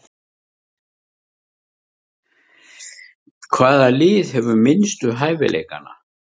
Hvaða lið hefur minnstu hæfileikana?